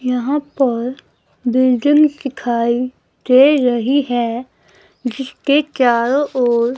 यहां पर बिल्डिंग दिखाई दे रही है जिसके चारों ओर--